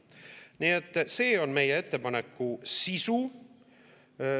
Nii et see on meie ettepaneku sisu.